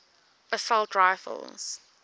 assault rifles